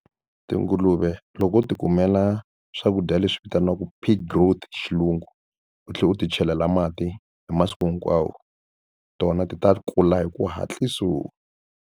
Tinguluve loko u tikumela swakudya leswi vitaniwaka pig growth hi xilungu u tlhela u ti chelela mati hi masiku hinkwawo tona ti ta kula hi ku hatliso.